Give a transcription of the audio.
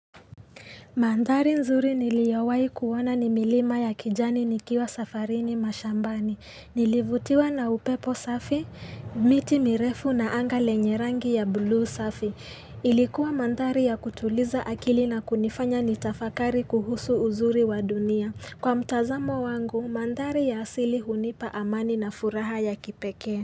Mandhari nzuri niliyowahi kuona ni milima ya kijani nikiwa safarini mashambani. Nilivutiwa na upepo safi, miti mirefu na anga lenye rangi ya buluu safi. Ilikuwa mandhari ya kutuliza akili na kunifanya nitafakari kuhusu uzuri wa dunia. Kwa mtazamo wangu, mandhari ya asili hunipa amani na furaha ya kipekee.